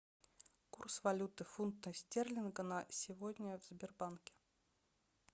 курс валюты фунта стерлинга на сегодня в сбербанке